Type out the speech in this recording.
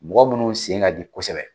Mɔgɔ minnu sen ka di kosɛbɛ